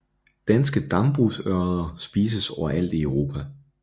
Danske dambrugsørreder spises overalt i Europa